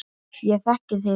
Ég þekki þig